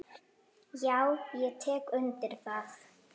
Já, ég tek undir það.